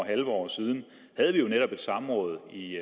halvt år siden havde vi jo netop et åbent samråd i